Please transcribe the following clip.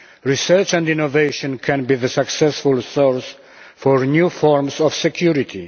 Research and innovation can be the successful source for new forms of security